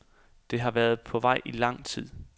Det havde været på vej i lang tid.